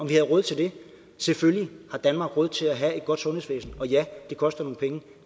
vi havde råd til det selvfølgelig har danmark råd til at have et godt sundhedsvæsen og ja det koster nogle penge og